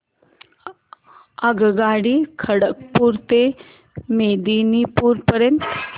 आगगाडी खरगपुर ते मेदिनीपुर पर्यंत